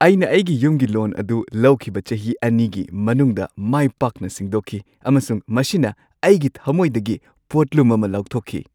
ꯑꯩꯅ ꯑꯩꯒꯤ ꯌꯨꯝꯒꯤ ꯂꯣꯟ ꯑꯗꯨ ꯂꯧꯈꯤꯕ ꯆꯍꯤ ꯲ꯒꯤ ꯃꯅꯨꯡꯗ ꯃꯥꯏ ꯄꯥꯛꯅ ꯁꯤꯡꯗꯣꯛꯈꯤ ꯑꯃꯁꯨꯡ ꯃꯁꯤꯅ ꯑꯩꯒꯤ ꯊꯝꯃꯣꯏꯗꯒꯤ ꯄꯣꯠꯂꯨꯝ ꯑꯃ ꯂꯧꯊꯣꯛꯈꯤ꯫